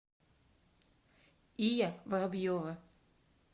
ия воробьева